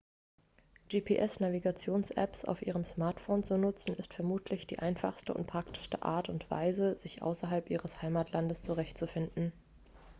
gps-navigationsapps auf ihrem smartphone zu nutzen ist vermutlich die einfachste und praktischste art und weise sich außerhalb ihres heimatlandes zurechtzufinden